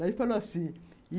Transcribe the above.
Daí ele falou assim.